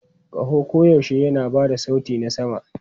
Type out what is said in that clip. Kaho koyaushe yana ba da sauti na sama.